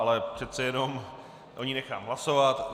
Ale přece jenom o ní nechám hlasovat.